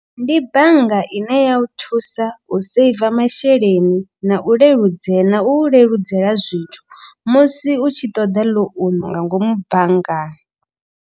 Ndi bannga ine ya u thusa u saver masheleni. Na u leludzeya na u u leludzela zwithu musi u tshi ṱoḓa ḽounu nga ngomu banngani.